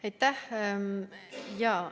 Aitäh!